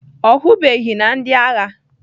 Ọ hụbeghị na ndị agha